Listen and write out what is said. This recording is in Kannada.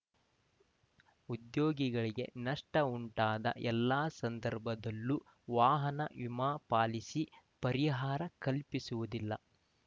ಉದ್ಯೋಗಿಗಳಿಗೆ ನಷ್ಟಉಂಟಾದ ಎಲ್ಲ ಸಂದರ್ಭದಲ್ಲೂ ವಾಹನ ವಿಮಾ ಪಾಲಿಸಿ ಪರಿಹಾರ ಕಲ್ಪಿಸುವುದಿಲ್ಲ